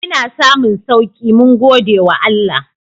Ina samun sauki mun gode wa Allah.